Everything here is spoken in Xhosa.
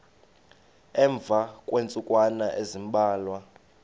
emva kweentsukwana ezimbalwa